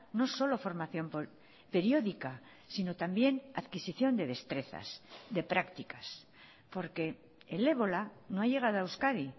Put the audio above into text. no solo formación periódica sino también adquisición de destrezas de prácticas porque el ébola no ha llegado a euskadi